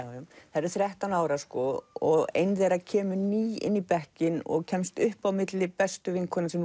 þær eru þrettán ára og ein þeirra kemur ný inn í bekkinn og kemst upp á milli bestu vinkvenna sem